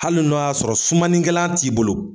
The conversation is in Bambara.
Hali n'o y'a sɔrɔ sumanikɛlan t'i bolo.